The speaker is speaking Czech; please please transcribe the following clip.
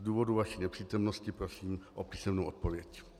Z důvodu vaší nepřítomnosti prosím o písemnou odpověď.